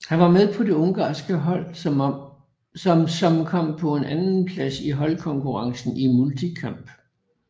Han var med på det ungarske hold som som kom på en andenplads i holdkonkurrencen i multikamp